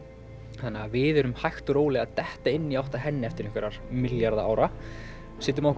þannig að við erum hægt og rólega að detta inn í átt að henni eftir einhverja milljarða ára setjum á okkur